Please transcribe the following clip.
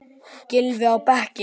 Gylfi á bekkinn?